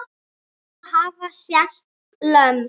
Svo hafa sést lömb.